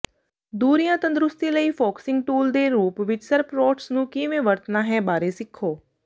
ਦੂਰੀਆਂ ਤੰਦਰੁਸਤੀ ਲਈ ਫੋਕਸਿੰਗ ਟੂਲ ਦੇ ਰੂਪ ਵਿਚ ਸਰਪਰੋਟਸ ਨੂੰ ਕਿਵੇਂ ਵਰਤਣਾ ਹੈ ਬਾਰੇ ਸਿੱਖੋ